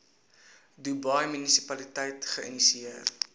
dubai munisipaliteit geïnisieer